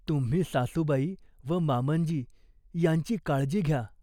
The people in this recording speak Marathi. तुम्ही सासूबाई व मामंजी ह्यांची काळजी घ्या.